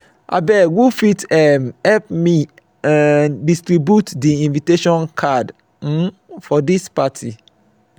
abeg who fit um help me um distribute di invitation card um for dis party?